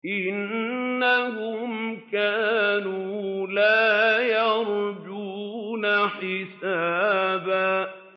إِنَّهُمْ كَانُوا لَا يَرْجُونَ حِسَابًا